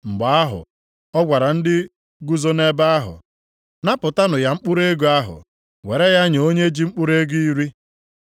“Mgbe ahụ, ọ gwara ndị guzo nʼebe ahụ, ‘Napụtanụ ya mkpụrụ ego ahụ, were ya nye onye ji mkpụrụ ego iri.’